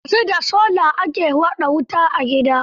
Yanzu da sola ake haɗa wuta a gidaje.